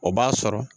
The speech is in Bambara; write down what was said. O b'a sɔrɔ